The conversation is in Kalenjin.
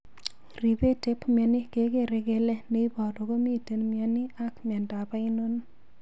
Ripet ep mioni kegere kele ne iporu komiten mioni ak miondo ainon